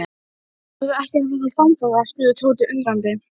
Þú ert algjörlega tilfinningalaus gagnvart mér.